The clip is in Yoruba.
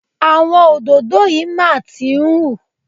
Àwọn òdòdó yìí máa tí ń hú.